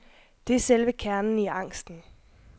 Det er selve kernen i angsten.